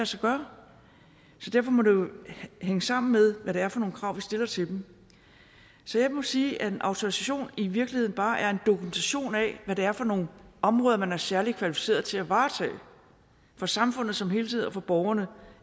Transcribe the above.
sig gøre så derfor må det jo hænge sammen med hvad det er for nogle krav vi stiller til dem så jeg må sige at en autorisation i virkeligheden bare er en dokumentation af hvad det er for nogle områder man er særlig kvalificeret til at varetage for samfundet som helhed og for borgerne